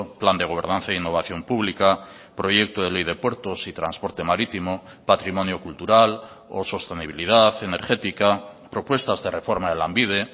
plan de gobernanza e innovación pública proyecto de ley de puertos y transporte marítimo patrimonio cultural o sostenibilidad energética propuestas de reforma de lanbide